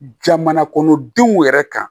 Jamana kɔnɔdenw yɛrɛ kan